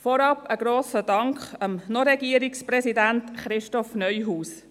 Vorab ein grosser Dank an den Noch-Regierungspräsidenten Christoph Neuhaus.